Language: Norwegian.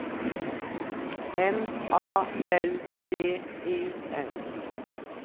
M A L V I N